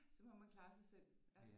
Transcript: Så må man klare sig selv